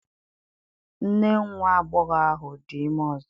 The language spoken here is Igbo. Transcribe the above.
Nne nwa agbọghọ ahụ dị ime ọzọ